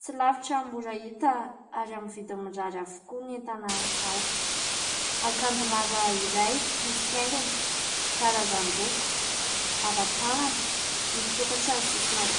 tsy lavitra no mora hita ary amin'ny vidiny mirary avokoa ny entana ao. Akanjo lava iray misy haingony sy karazan-doko, lava tanana, misoktra ny sisin'akanjo.